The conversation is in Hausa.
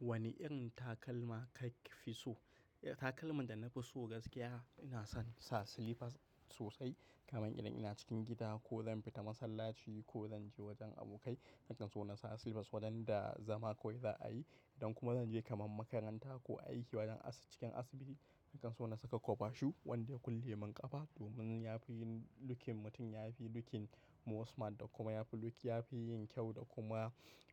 Wane irin takalma ka fi so? Eh, takalman da na fi so gaskiya ina son sa slippers sosai kamar idan ina cikin gida ko zan fita masallaci ko zan je wajen abokai. Hakan so na sa slippers wadanda zama kawai za a yi. Idan kuma zan je kamar makaranta ko a yi a cikin asibiti, hakan so na saka cover shoe wanda kullum in kafa domin ya fi yin lookin mutum, ya fi looking ma smart da kuma ya fi look, ya fi yin kyau da kuma